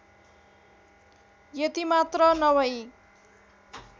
यति मात्र नभई